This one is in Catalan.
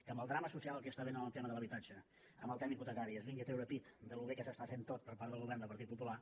que amb el drama social que hi està havent en el tema de l’habitatge en el tema hipotecari es vingui a treure pit de com de bé s’està fent tot per part del govern del partit popular